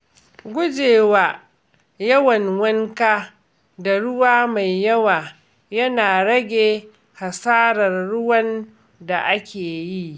Gujewa yawan wanka da ruwa mai yawa yana rage hasarar ruwan da ake yi.